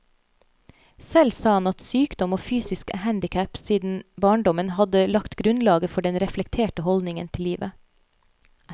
Selv sa han at sykdom og fysisk handicap siden barndommen hadde lagt grunnlaget for den reflekterte holdningen til livet.